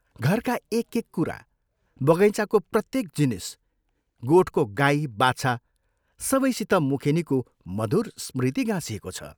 घरका एक एक कुरा, बगैँचाको प्रत्येक जिनिस, गोठको गाई बाछा सबैसित मुखेनीको मधुर स्मृति गाँसिएको छ।